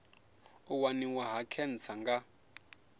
u waniwa ha khentsa nga